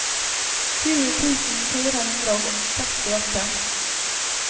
tjue tusen fire hundre og sekstiåtte